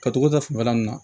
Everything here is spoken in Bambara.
Ka togo da fanba nunnu na